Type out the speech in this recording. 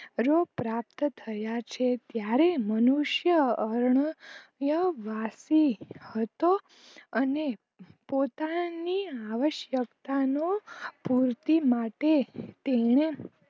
રોગ પ્રાપ્ત થયા છે ત્યારે મનુષ્ય અર્ણયા વાશી હતો અને પોતાની આવશક્તા નો પૂરતી માટે તેને